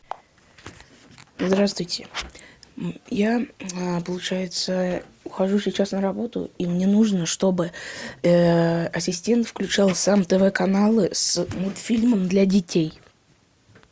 здравствуйте я получается ухожу сейчас на работу и мне нужно чтобы ассистент включал сам тв каналы с мультфильмом для детей